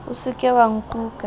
o se ke wa nkuka